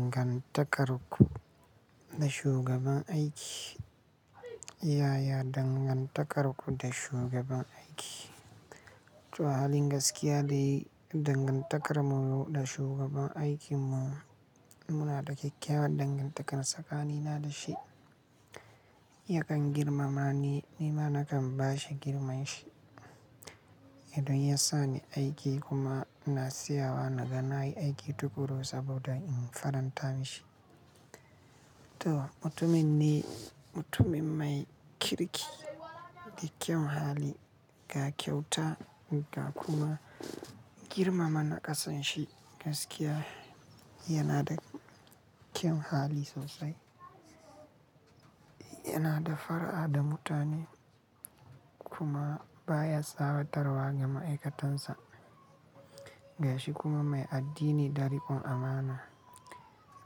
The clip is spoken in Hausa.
Dangantakar ku da shugaban aiki. Yaya dangantakar ku da shugaban aiki? To halin gaskiya de dangantakar mu da shugaban aikin mu, muna da kyakkyawan dangantakar tsakanina da shi. Yakan girmama ni, ni ma nakan ba shi girmaman shi. Idon ya sa ni aiki kuma ina tsiyawa na ga nayi aiki tukuru saboda in faranta mishi. To mutumin ne, mutumin mai kirki da kyan hali, ga kyauta ga kuma girmama naƙasan shi gaskiya yana da kyan hali sosai. Yana da far'a da mutane kuma baya tsawatarwa ga ma'aikatansa. Ga shi kuma mai addini ɗarikon amana.